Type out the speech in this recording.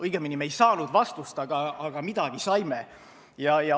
Õigemini, me ei saanud vastust, aga midagi saime.